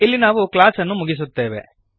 ಇಲ್ಲಿ ನಾವು ಕ್ಲಾಸ್ ಅನ್ನು ಮುಗಿಸುತ್ತೇವೆ